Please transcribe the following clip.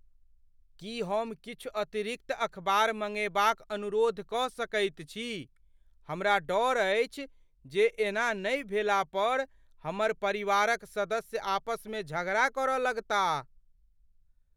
की हम किछु अतिरिक्त अखबार मङ्गेबाक अनुरोध कऽ सकैत छी? हमरा डऽर अछि जे एना नहि भेलापर हमर परिवारक सदस्य आपसमे झगड़ा कर लगताह।